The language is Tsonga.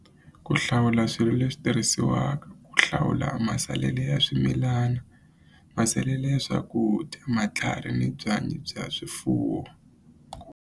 Ku hlawula swilo leswi tirhisiwaka ku hlawula masalele ya swimilani masalele ya swakudya matlhari ni byanyi bya swifuwo.